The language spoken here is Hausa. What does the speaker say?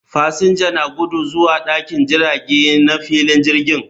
Fasinja na gudu zuwa dakin jirage na filin jirgin